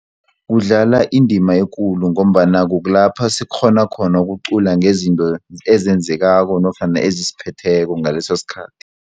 Kudlala indima ekulu ngombana kukulapha sikghona khona ukucula ngezinto ezenzekako nofana ezisiphetheko ngaleso sikhathi.